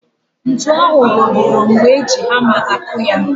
Ntu ahụ rọgọrọ mgbe e ji hama akụ ya